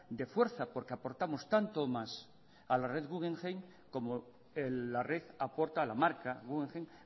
de fuerza porque aportamos tanto o más a la red guggenheim como la red aporta a la marca guggenheim